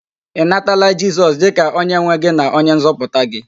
Ị natala Jisọs dịka onyenwe gị na onyenzọpụta gị?